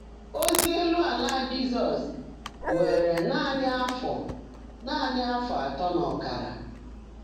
Ózí élú álá Jị́zọ́s wèèré nàní áfọ́ nàní áfọ́ átọ́ nà ọ́kárá.